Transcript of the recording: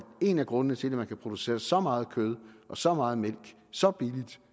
en af grundene til at man kan producere så meget kød og så meget mælk så billigt